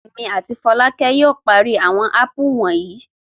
Èmi àti Fọlákẹ́ yóò parí àwọn ápù wonyi.